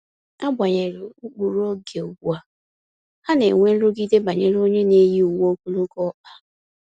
Agbanyeghi ụkpụrụ oge ugbua, ha ka na enwe nrụgide banyere onye n'eyi uwe ogologo ọkpa